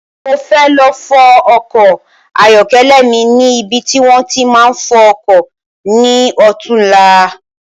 Mo fẹ́ lọ fọ ọkọ ayọkẹlẹ mi ni ibi ti wòn ti máa ń fọ ọkọ̀ ni ọ̀túnla